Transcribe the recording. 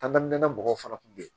An ka nɛnɛ mɔgɔw fana kun bɛ yen